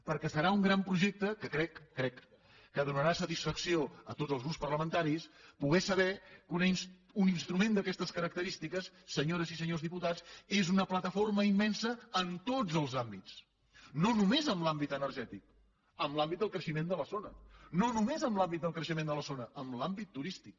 perquè serà un gran projecte que crec ho crec que donarà satisfacció a tots els grups parlamentaris poder saber que un instrument d’aquestes característiques senyores i senyors diputats és una plataforma immensa en tots els àmbits no només en l’àmbit energètic en l’àmbit del creixement de la zona no només en l’àmbit del creixement de la zona en l’àmbit turístic